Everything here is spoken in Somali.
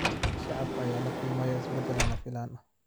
Shacabka ayaa la kulmaya isbedel lama filaan ah.